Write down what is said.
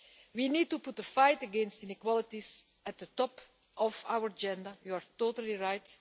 We need to put the fight against inequalities at the top of our agenda, you are totally right.